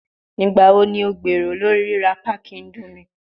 Nigbawo ni o gbero lori rira packi indomie?